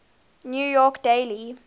new york daily